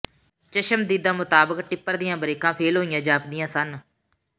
ਚਸ਼ਮਦੀਦਾਂ ਮੁਤਾਬਕ ਟਿੱਪਰ ਦੀਆਂ ਬਰੇਕਾਂ ਫੇਲ੍ਹ ਹੋਈਆਂ ਜਾਪਦੀਆਂ ਸਨ